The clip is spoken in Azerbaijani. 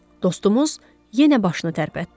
Dostumuz yenə başını tərpətdi.